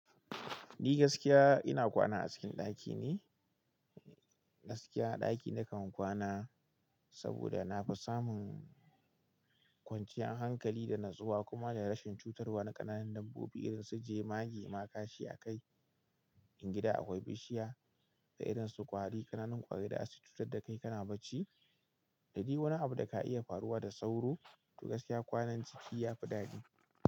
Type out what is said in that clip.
Ni gaskiya ina kwana a cikin ɗaki ne. Gaskiya a ɗaki na kan kwana saboda na fi samun kwanciyar hankali da natsuwa kuma da rashin cutarwa na ƙananun dabbobi irin su jemage ma gashi a kai. In gida akwai bishiya da irin su ƙwari, ƙananun ƙwari da za su cutar da kai kana bacci. Da dai wani abu da ka iya faruwa da sauro, to gaskiya kwanan ciki ya fi daɗi.